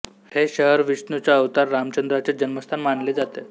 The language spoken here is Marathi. हे शहर विष्णूचा अवतार रामचंद्राचे जन्मस्थान मानले जाते